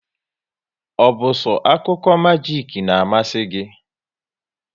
Ọ bụ so akụkọ majik n'amasi gị?